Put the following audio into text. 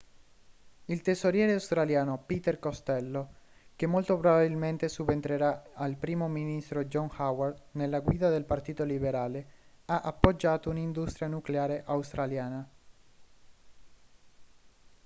il tesoriere australiano peter costello che molto probabilmente subentrerà al primo ministro john howard nella guida del partito liberale ha appoggiato un'industria nucleare australiana